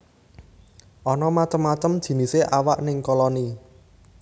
Ana macem macem jinisé awak ning koloni